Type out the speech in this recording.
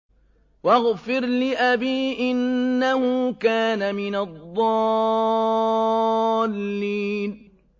وَاغْفِرْ لِأَبِي إِنَّهُ كَانَ مِنَ الضَّالِّينَ